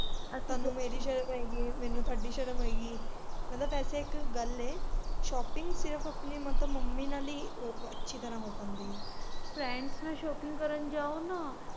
ਆਹ ਮੈਨੂੰ ਤੁਹਾਡੀ ਸ਼ਰਮ ਆ ਗਈ ਮੈਨੂੰ ਤੁਹਾਡੀ ਸ਼ਰਮ ਆ ਗਈ ਮੈਂ ਕਿਹਾ ਵੈਸੇ ਇੱਕ ਗੱਲ ਐ shopping ਸਿਰਫ ਆਪਣੇ ਮਤਲਬ ਮੰਮੀ ਨਾਲ ਹੀ ਅੱਛੀ ਤਰਾਂ ਹੋ ਪਾਂਦੀ ਆ friends ਨਾਲ shopping ਕਰਨ ਜਾਉ ਨਾ।